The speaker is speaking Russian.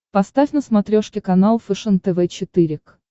поставь на смотрешке канал фэшен тв четыре к